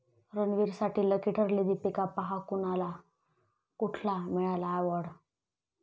रणवीरसाठी lucky ठरली दीपिका, पहा कोणाला कुठला मिळाला अॅवाॅर्ड?